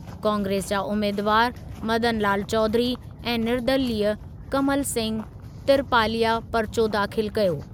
कांग्रेस जा उमेदवारु मदनलाल चौधरी ऐं निर्दलीय कमल सिंह तिरपालिया परिचो दाख़िल कयो।